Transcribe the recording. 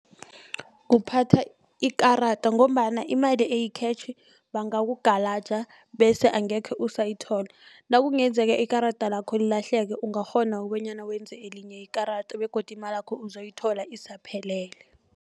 Kuphatha ikarada ngombana imali eyikhetjhi bangakugalaja bese angekhe usayithola nakungenzeka ikarada lakho lilahleke ungakghona kobonyana wenze elinye ikarada begodu imalakho uzoyithola isaphelele.